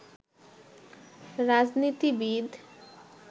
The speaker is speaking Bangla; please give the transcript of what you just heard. রাজনীতিবিদ